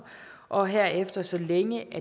og herefter så længe